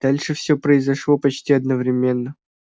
дальше всё произошло почти одновременно